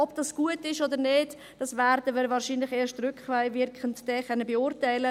Ob dies gut ist oder nicht, werden wir wahrscheinlich erst rückwirkend beurteilen können.